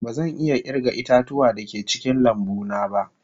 Bazan iya kirga ita-tuwa da ke cikin lambu na ba.